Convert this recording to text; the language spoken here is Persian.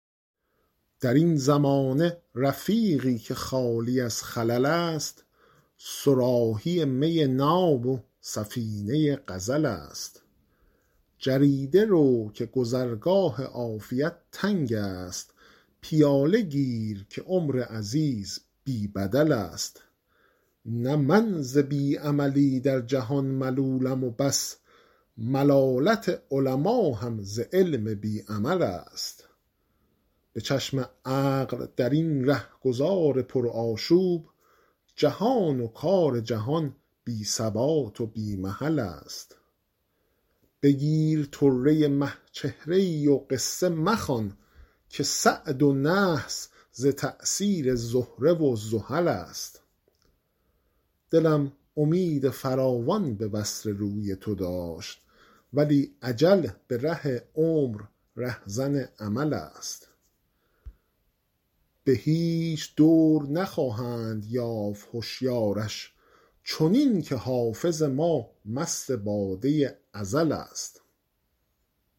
در این زمانه رفیقی که خالی از خلل است صراحی می ناب و سفینه غزل است جریده رو که گذرگاه عافیت تنگ است پیاله گیر که عمر عزیز بی بدل است نه من ز بی عملی در جهان ملولم و بس ملالت علما هم ز علم بی عمل است به چشم عقل در این رهگذار پرآشوب جهان و کار جهان بی ثبات و بی محل است بگیر طره مه چهره ای و قصه مخوان که سعد و نحس ز تأثیر زهره و زحل است دلم امید فراوان به وصل روی تو داشت ولی اجل به ره عمر رهزن امل است به هیچ دور نخواهند یافت هشیارش چنین که حافظ ما مست باده ازل است